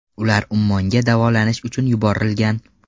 Ular Ummonga davolanish uchun yuborilgan.